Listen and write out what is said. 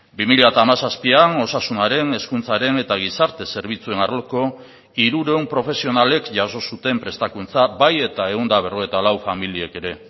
bi mila hamazazpian osasunaren hezkuntzaren eta gizarte zerbitzuen arloko hirurehun profesionalek jaso zuten prestakuntza bai eta ehun eta berrogeita lau familiek ere